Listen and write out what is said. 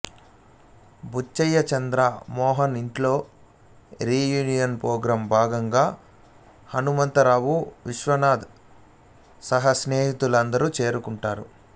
బుచ్చయ్య చంద్ర మోహన్ ఇంట్లో reunion programme భాగంగా హనుమంత రావు విశ్వనాథ్ సహా స్నేహితులందరూ చేరుకుంటారు